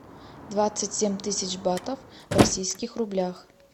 двадцать семь тысяч батов в российских рублях